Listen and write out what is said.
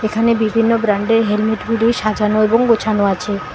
এখানে বিভিন্ন ব্র্যান্ডের হেলমেটগুলি সাজানো এবং গোছানো আছে।